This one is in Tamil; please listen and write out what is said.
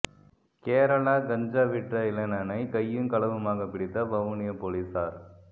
கேரளா கஞ்சா விற்ற இளைஞனை கையும் களவுமாக பிடித்த வவுனியா பொலிஸார்